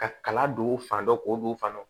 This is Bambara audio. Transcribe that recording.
Ka kala don u fan dɔ k'o don fan dɔ